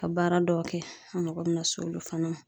Ka baara dɔw kɛ , an mago bɛ na s'olu fana ma.